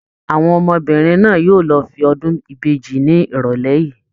Àwọn ọmọbìnrin náà yóò lọ fún ọdún ìbejì ni irọlẹ yìí.